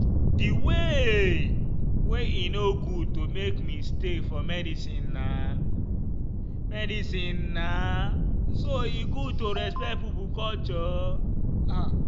the way wey e no good to make mistake for medicinena medicinena so e good to respect pipo culture.